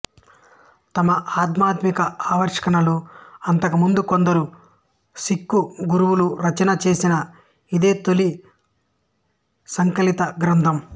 తమ ఆధ్యాత్మిక ఆవిష్కరణలు అంతకుముందు కొందరు సిక్ఖు గురువులు రచన చేసినా ఇదే తొలి సంకలిత గ్రంథం